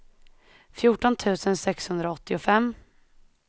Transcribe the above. fjorton tusen sexhundraåttiofem